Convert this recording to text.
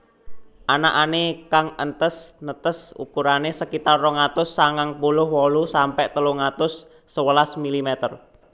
Anakané kang entes netes ukurané sekitar rong atus sangang puluh wolu sampe telung atus sewelas milimeter